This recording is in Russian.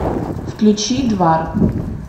включи двар